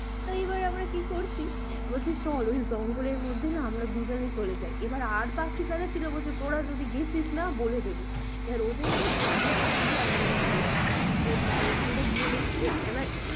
তো এবার আমরা কি করছি বলে চল ওই জঙ্গল এর মধ্যে না আমরা দুজন চলে যাই এবার আর বাকি যারা ছিল বলছে তোরা যদি গেছিস না বলে দেব এবার ওদের কেও পটিয়ে পাতিয়ে আমরা নিয়ে গেছি এবার ওখান টা গিয়ে দেখছি না